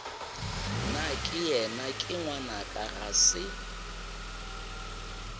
nakeyena ke ngwanaka ga se